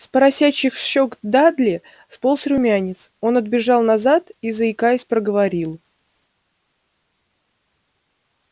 с поросячьих щёк дадли сполз румянец он отбежал назад и заикаясь проговорил